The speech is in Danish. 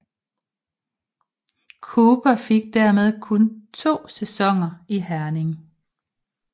Cooper fik dermed kun to sæsoner i Herning